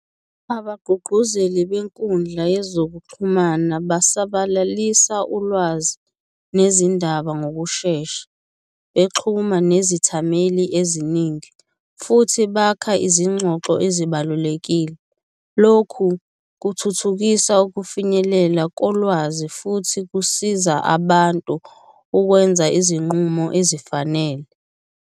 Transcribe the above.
Abagqugquzeli benkundla yezokuxhumana basabalalisa ulwazi nezindaba ngokushesha, bexhuma nezithameli eziningi futhi bakha izingxoxo ezibalulekile. Lokhu kuthuthukisa ukufinyelela kolwazi futhi kusiza abantu ukwenza izinqumo ezifanele.